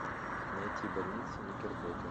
найти больница никербокер